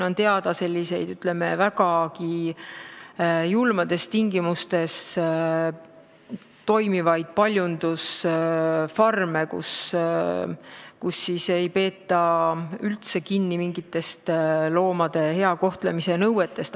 On teada vägagi julmades tingimustes tegutsevaid paljundusfarme, kus ei peeta üldse kinni mingitest loomade hea kohtlemise nõuetest.